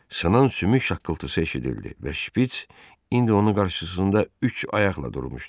Sınan sümük şaqqıltısı eşidildi və şpits indi onun qarşısında üç ayaqla durmuşdu.